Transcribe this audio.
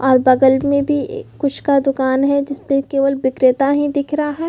और बगल में भी ए कुछ का दूकान है जिसपे केवल बिक्रेता ही दिख रहा है।